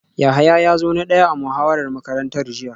Yahaya ya zo na daya a muhawarar makarantar jiya